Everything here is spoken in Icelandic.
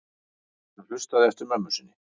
Hann hlustaði eftir mömmu sinni.